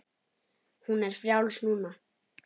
Hún er frjáls núna.